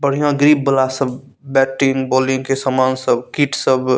बढ़िया ग्रिप वाला सब बैटिंग बॉलिंग के समान सब किट सब --